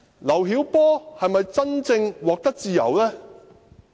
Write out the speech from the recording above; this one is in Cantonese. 劉曉波是否真正獲得自由？